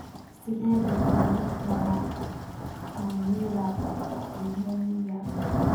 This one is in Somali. Sidee loo daweyn karaa catamenial limoniyaa?